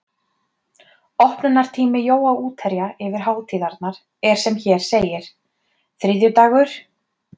Opnunartími Jóa útherja yfir hátíðirnar er sem hér segir: þriðjudagur